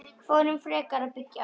Förum frekar að byggja aftur.